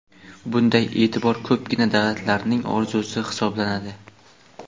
bunday eʼtibor ko‘pgina davlatlarning orzusi hisoblanadi.